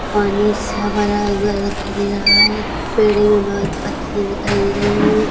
पानी सा भरा हुआ दिखाई दे रहा है पेड़े में बहोत पत्तियां दिखाई दे रही है।